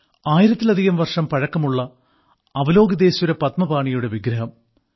ആയിരത്തിലധികം വർഷം പഴക്കമുള്ള അവലോകിതേശ്വര പദ്മപാണിയുടെ വിഗ്രഹം